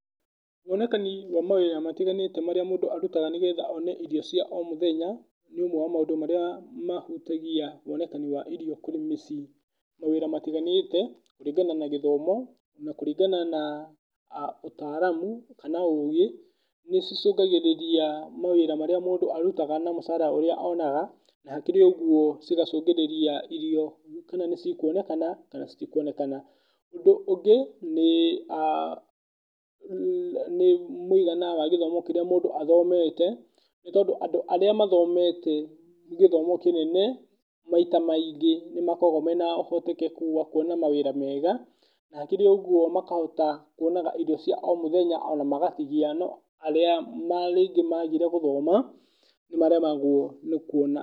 Wonekani wa mawĩra matiganĩte marĩa mũndũ arutaga nĩgetha one irio cia o mũthenya nĩ ũmwe wa maũndũ marĩa mahutagia wonekani wa irio kwĩ mĩciĩ. Mawĩra matiganĩte kũringana na gĩthomo, kũringana na ũtaaramu kana ũgĩ, nĩ cicũngagĩrĩria mawĩra marĩa mũndũ arutaga na mũcara ũrĩa onaga. Na hakĩrĩ ũguo cigacũngĩrĩria irio kana nĩ cikuonekana kana citikuonekana. Ũndũ ũngĩ nĩ mũigana wa gĩthomo kĩrĩa mũndũ athomete, nĩ tondũ andũ arĩa mathomete gĩthomo kĩnene, maita maingĩ nĩ makoragwo mena ũhotekeku wa kuona mawĩra mega. Na hakĩrĩ ũguo makahota kuonaga irio cia o mũthenya ona magatigia. No arĩa rĩngĩ maagire gũthoma nĩ maremagwo rĩngĩ nĩ kuona.